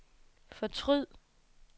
fortryd